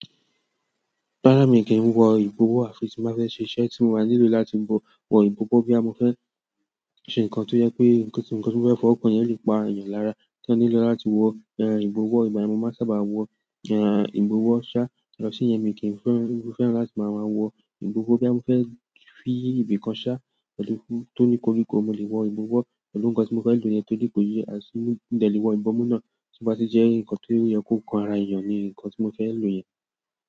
Rarà mí kí n wọ ìbọwọ́ àfi tí m bá fẹ́ ṣe iṣẹ́ tí mo maa nílò láti wọ, wo ìbọwọ́ boya mo fẹ́ ṣe nǹkan tó jẹ pé nǹkan tí mo nǹkan ti mo fẹ́ fọwọ́ kan yẹn lè pa èèyàn lára, tí eeyan nílò láti wọ ìbọwọ́ ìgbà yen ni mo máa sábà wọ ìbọwọ́ ṣá, yàtọ̀ siyen mi kí n fe, fẹ́ràn láti máa wọ ìbọwọ́ boya mo fẹ́ fi ibìkan ṣá tòní koríko mo lè wọ ìbọwọ́ pẹ̀lú nǹkan tí mo fẹ́ lò yẹn tòrí kò yé, àti mo de lè wọ ìbọmú náà tí ó bá ti jẹ́ nǹkan ti ó yẹ kó kan ara èèyàn ni nǹkan tí mo fẹ́ lò yẹn.